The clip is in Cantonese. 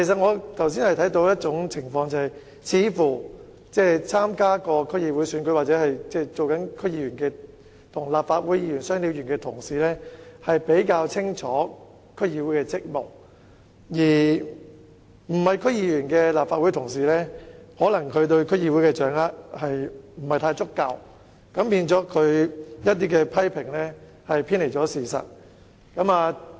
我剛才看到一種情況，曾經參加區議會選舉或身兼區議員的"雙料"議員會似乎較清楚區議會的職務，而非區議員的立法會議員可能對區議會的工作掌握得不太足夠，以致他們的一些批評偏離事實。